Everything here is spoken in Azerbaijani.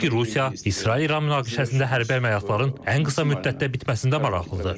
Sözsüz ki, Rusiya İsrail-İran münaqişəsində hərbi əməliyyatların ən qısa müddətdə bitməsində maraqlıdır.